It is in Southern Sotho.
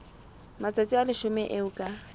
matsatsi a leshome eo ka